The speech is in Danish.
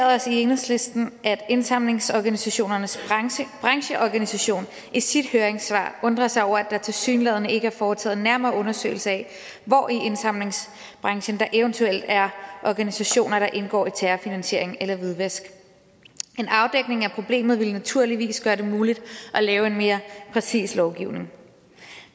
også i enhedslisten noteret at indsamlingsorganisationernes brancheorganisation i sit høringssvar undrer sig over at der tilsyneladende ikke er foretaget en nærmere undersøgelse af hvor i indsamlingsbranchen der eventuelt er organisationer der indgår i terrorfinansiering eller hvidvask en afdækning af problemet ville naturligvis gøre det muligt at lave en mere præcis lovgivning